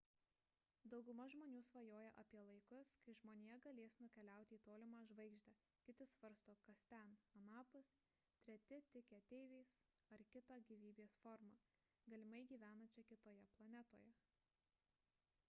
dauguma žmonių svajoja apie laikus kai žmonija galės nukeliauti į tolimą žvaigždę kiti svarsto kas ten anapus treti tiki ateiviais ar kita gyvybės forma galimai gyvenančia kitoje planetoje